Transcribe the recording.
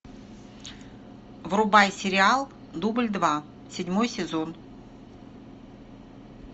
врубай сериал дубль два седьмой сезон